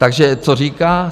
Takže co říká?